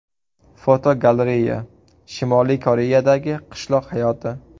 Fotogalereya: Shimoliy Koreyadagi qishloq hayoti.